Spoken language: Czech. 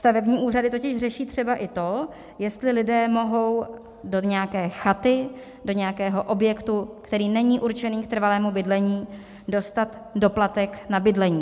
Stavební úřady totiž řeší třeba i to, jestli lidé mohou do nějaké chaty, do nějakého objektu, který není určitý k trvalému bydlení, dostat doplatek na bydlení.